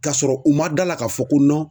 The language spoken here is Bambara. Kasɔrɔ u ma d'a la ka fɔ ko